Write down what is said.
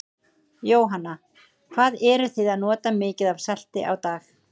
Jóhanna: Hvað eruð þið að nota mikið af salti á dag?